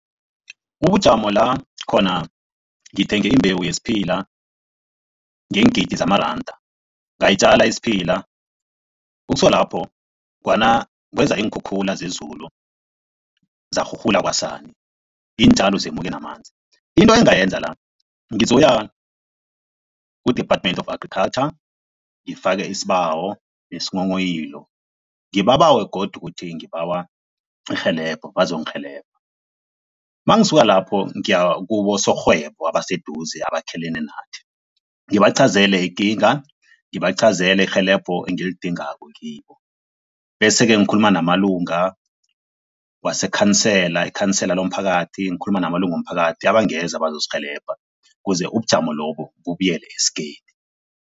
Ubujamo la khona ngithenge imbewu yesiphila ngeengidi zamaranda, ngayitjala isiphila, ukusuka lapho kweza iinkhukhula zezulu, zarhurhula kwasani, iintjalo zemuke namanzi. Into engingayenza la, ngizokuya ku-Department of Agriculture ngifake isibawo nesinghonghoyilo, ngibabawe godu ukuthi ngibawa irhelebho, bazongirhelebha. Mangisuka lapho ngiyakubosorhwebo abaseduze, abakhelene nathi, ngibachazele ikinga, ngibachazele irhelebho engilidingako kibo bese-ke ngikhuluma namalunga wasekhansela, ikhansela lomphakathi, ngikhuluma namalunga womphakathi abangeza bazosirhelebha kuze ubujamo lobo bubuyela esigeni.